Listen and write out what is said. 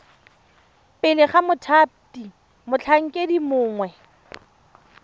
pele ga mothati motlhankedi mongwe